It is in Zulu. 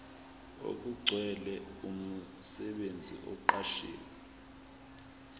okugcwele umsebenzi oqashwe